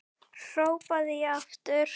hrópaði ég aftur.